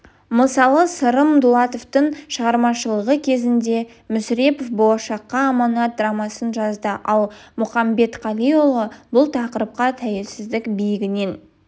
мысалы сырым датұлының шығармашылығы кезінде мүсірепов болашаққа аманат драмасын жазды ал мұқамбетқалиұлы бұл тақырыпқа тәуелсіздік биігінен